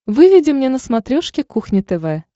выведи мне на смотрешке кухня тв